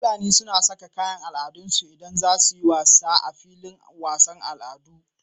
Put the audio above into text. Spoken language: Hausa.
Fulani suna Saka kayan al'adarsu idan zasuyi wasa a filin wasan al'adu